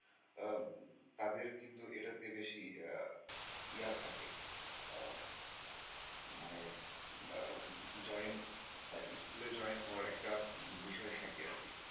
আহ তাদের কিন্তু এটাতে বেশি ইএয়া থাকে আহ মানে join ইস্কুলে join হওয়ার একটা বিষয় থাকে আরকি।